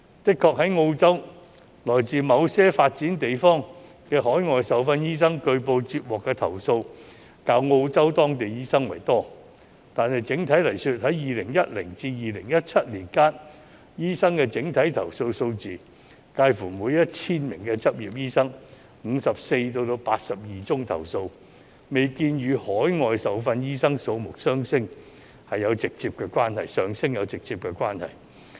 的確，在澳洲來自某些發展地方的海外受訓醫生據報接獲的投訴較澳洲當地醫生為多，但整體而言，在2010年至2017年間，投訴醫生的整體數字介乎每 1,000 名執業醫生有54宗至82宗投訴，未見與海外受訓醫生數目上升有直接關係。